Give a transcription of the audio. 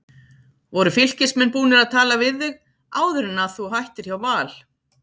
Voru Fylkismenn búnir að tala við þig áður en að þú hættir hjá Val?